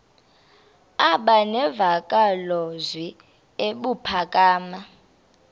aba nemvakalozwi ebuphakama